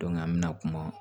an bɛna kuma